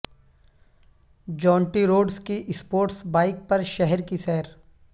جونٹی Rhodes کی sports bike پر شہر کی سیر